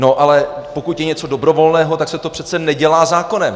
No ale pokud je něco dobrovolného, tak se to přece nedělá zákonem.